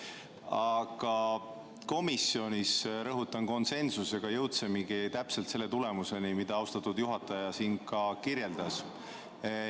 Aga komisjonis me jõudsime, rõhutan, konsensusega täpselt sellise tulemuseni, mida austatud juhataja siin kirjeldas.